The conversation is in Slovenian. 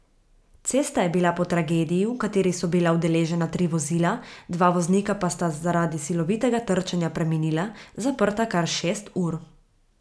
Cesta je bila po tragediji, v kateri so bila udeležena tri vozila, dva voznika pa sta zaradi silovitega trčenja preminila, zaprta kar šest ur.